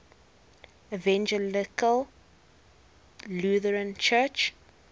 evangelical lutheran church